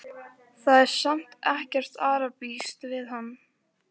Hann hefði þrumað yfir hausamótunum á þeim.